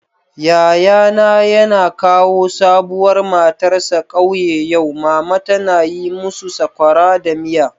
Yayana yana kawo sabuwar matarsa kauye yau. Mama tana yi musu sokora da miya.